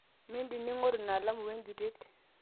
mindim ningoru ina alamu we enjutet